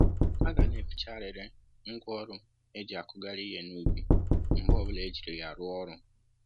A ga na-eficharịrị ngwá ọrụ e jì akụghari ihe n'ubi mgbe ọbula e jiri ya rụọ ọrụ